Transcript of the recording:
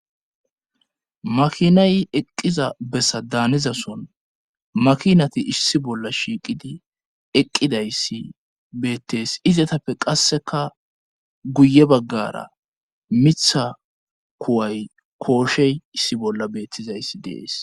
makinayi eqqiza bessa daanizason makinati issi bolla shiiqidi eqqidayssi beettes izatappe qasseka guye baggara mitha kuway kooshey issi bolla beettizayssi dees